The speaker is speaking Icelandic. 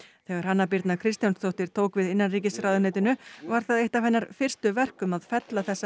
þegar Hanna Birna Kristjánsdóttir tók við innanríkisráðuneytinu var það eitt af hennar fyrstu verkum að fella þessa